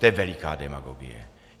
To je veliká demagogie.